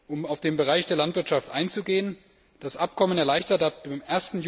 Um auf den Bereich Landwirtschaft einzugehen Das Abkommen erleichtert ab dem